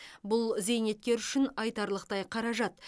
бұл зейнеткер үшін айтарлықтай қаражат